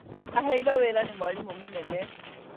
Aheirwo wĩra nĩ mwarimũ mũnene